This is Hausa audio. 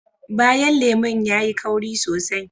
Bayan lemun yayi kauri sosai